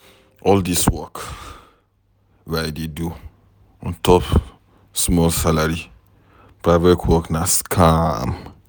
All dis work wey I dey do ontop small salary, private work na scam.